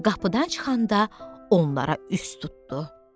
Qapıdan çıxanda onlara üz tutdu.